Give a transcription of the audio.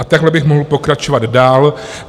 A takhle bych mohl pokračovat dál.